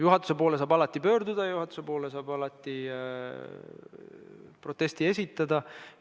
Juhatuse poole saab alati pöörduda ja juhatusele saab alati proteste esitada.